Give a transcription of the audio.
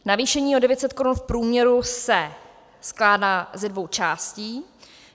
Navýšení o 900 korun v průměru se skládá ze dvou částí.